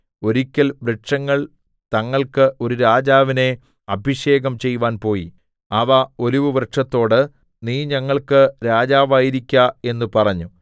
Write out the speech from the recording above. ഒരിക്കൽ വൃക്ഷങ്ങൾ തങ്ങൾക്ക് ഒരു രാജാവിനെ അഭിഷേകം ചെയ്‌വാൻ പോയി അവ ഒലിവുവൃക്ഷത്തോട് നീ ഞങ്ങൾക്ക് രാജാവായിരിക്ക എന്ന് പറഞ്ഞു